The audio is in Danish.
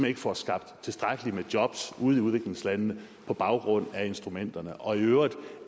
ikke får skabt tilstrækkelig med jobs ude i udviklingslandene på baggrund af instrumenterne og i øvrigt